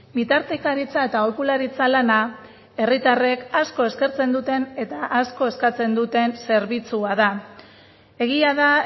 bitartekaritza eta aholkularitza lana herritarrek asko eskertzen duten eta asko eskatzen duten zerbitzua da egia da